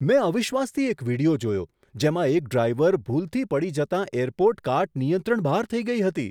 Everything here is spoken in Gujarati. મેં અવિશ્વાસથી એક વીડિયો જોયો જેમાં એક ડ્રાઈવર ભૂલથી પડી જતાં એરપોર્ટ કાર્ટ નિયંત્રણ બહાર થઈ ગઈ હતી.